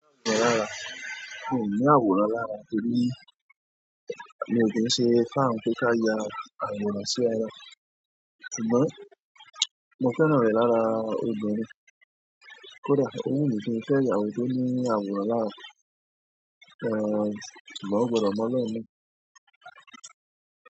Mi ò ní àwòrán lára torí mi ò kí ń ṣe fan pé ká ya àwòrán sí ara. Ṣùgbọ́n mo fẹ́ràn rẹ̀ lára obìnrin. Kódà ó wù mí kí n fẹ́ ìyàwó tó ní àwòrán lára, ṣùgbọ́n ó gbọ́dọ̀ mọ́ lóò ni.